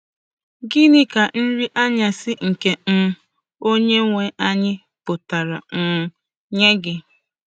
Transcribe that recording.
Gịnị ka Nri Anyasị nke um Onyenwe Anyị Pụtara um nye Gị?